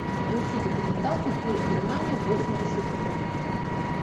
включи документалку фильм германия восемьдесят три